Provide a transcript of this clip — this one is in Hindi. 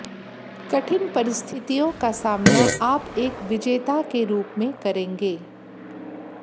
कठिन परिस्थितियों का सामना आप एक विजेता के रूप में करेंगे